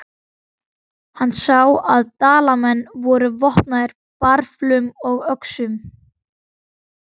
Hann sá að Dalamenn voru vopnaðir bareflum og öxum.